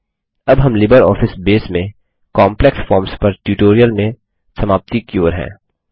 अब हम LibreOffice Base में काम्प्लेक्स फॉर्म्स पर ट्यूटोरियल में समाप्ति की ओर हैं